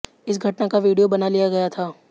इस घटना का वीडियो बना लिया गया था